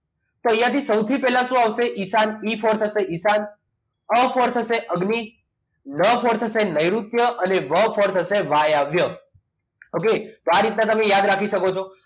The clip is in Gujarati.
તો અહીંયાથી સૌથી પહેલા શું આવશે ઈશાન ઈ પર થસે ઈશાન છે અગ્નિ ન પર થસે નૈઋત્ય અને વ પર થસે વાયવ્ય okay તો આ રીતના તમે યાદ રાખી શકો છો